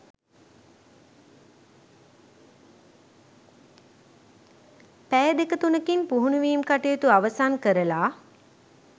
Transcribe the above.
පැය දෙක තුනකින් පුහුණුවීම් කටයුතු අවසන් කරලා